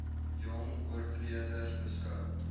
jong oortreders beskou